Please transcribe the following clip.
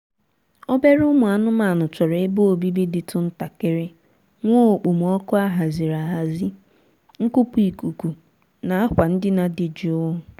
obere ụmụ anụmaanụ chọrọ ebe obibi dịtụ ntakịrị nwee okpomọọkụ a haziri ahazi nkupu ikuku na akwa ndina dị jụụ